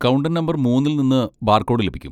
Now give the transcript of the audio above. Counter number മൂന്നിൽ നിന്ന് barcode ലഭിക്കും.